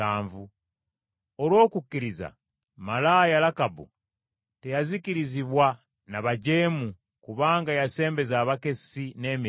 Olw’okukkiriza malaaya Lakabu, teyazikirizibwa n’abajeemu, kubanga yasembeza abakessi, n’emirembe.